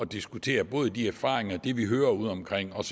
diskutere både de erfaringer og det vi hører ude omkring og